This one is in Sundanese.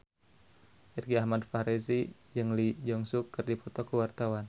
Irgi Ahmad Fahrezi jeung Lee Jeong Suk keur dipoto ku wartawan